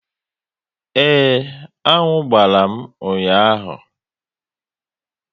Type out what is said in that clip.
Ee, aṅụ gbàrà m ụnyaahụ